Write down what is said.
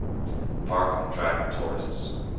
park attract tourists